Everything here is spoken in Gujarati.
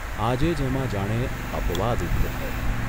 આજે જ એમાં જાણે અપવાદ ઊભો થયો.